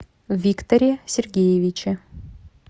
викторе сергеевиче